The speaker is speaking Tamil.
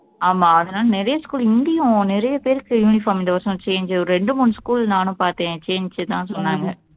ஆமா அதனால நிறைய school இங்கயும் நிறைய பேருக்கு uniform இந்த வருஷம் change ஒரு ரெண்டு மூணு school நானும் பாத்தேன் change தான் சொன்னாங்க